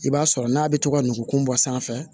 I b'a sɔrɔ n'a bɛ to ka nugukun bɔ sanfɛ